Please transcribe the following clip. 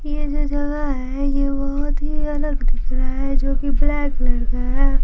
ये जो जगह है ये बहुत ही अलग दिखना है जो कि ब्लैक कलर का है।